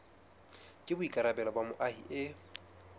ke boikarabelo ba moahi e